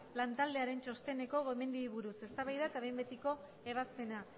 lantaldearen txosteneko gomendioei buruz eztabaida eta behin betiko ebazpena